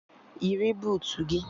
Yiri buutu gị!